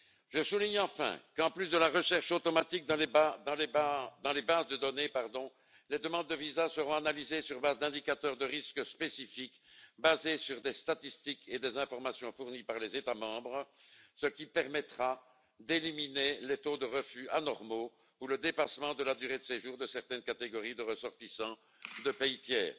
Je souligne, enfin, qu'en plus de la recherche automatique dans les bases de données, les demandes de visas seront analysées sur la base d'indicateurs de risque spécifiques fondés sur des statistiques et des informations fournies par les États membres, ce qui permettra d'éliminer les taux de refus anormaux ou le dépassement de la durée de séjour de certaines catégories de ressortissants de pays tiers.